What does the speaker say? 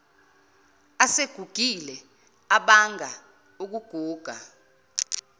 asegugile abanga ukuguga